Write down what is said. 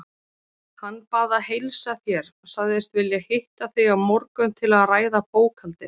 Hann bað að heilsa þér, sagðist vilja hitta þig á morgun til að ræða bókhaldið.